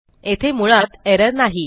येथे मुळात एरर नाही